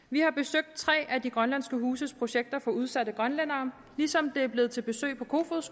vi har besøgt tre af de grønlandske huses projekter for udsatte grønlændere ligesom det er blevet til besøg på kofoeds